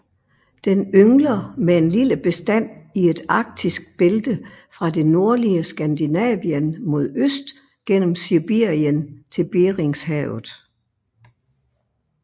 Den yngler med en lille bestand i et arktisk bælte fra det nordlige Skandinavien mod øst gennem Sibirien til Beringshavet